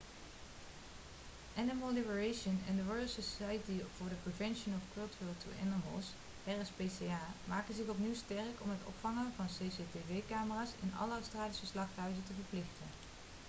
animal liberation en de royal society for the prevention of cruelty to animals rspca maken zich opnieuw sterk om het ophangen van cctv-camera's in alle australische slachthuizen te verplichten